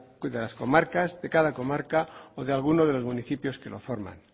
de las comarcas de cada comarca o de algunos de los municipios que los forman